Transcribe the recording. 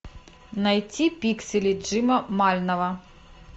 найти пиксели джима мальнова